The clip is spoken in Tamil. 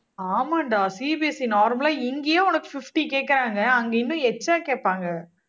ஆமாண்டா, CBSEnormal லா, இங்கேயே உனக்கு fifty கேக்குறாங்க. அங்க இன்னும் extra கேப்பாங்க